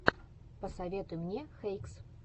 посоветуй мне хэйкс